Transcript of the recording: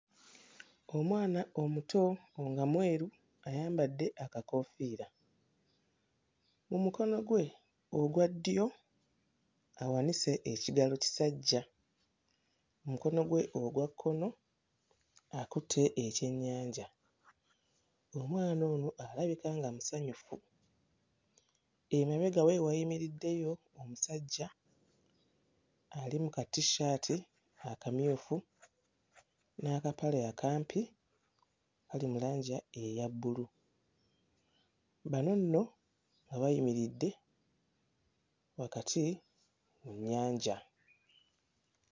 Omwana omuto nga mweru ayambadde akakoofiira, mu mukono gwe ogwa ddyo awanise ekigalo kisajja, mu mukono gwe okwakkono akutte ekyennyanja. Omwana ono alabika musanyufu, emabega we wayimidddeyo omusajja ali mu kat-shirt akamyufu n'akapale akampi akali mu langi eya bbulu, bano nno bayimiridde wakati mu nnyanja.